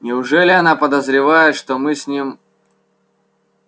неужели она подозревает что мы с ним